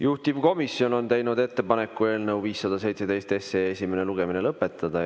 Juhtivkomisjon on teinud ettepaneku eelnõu 517 esimene lugemine lõpetada.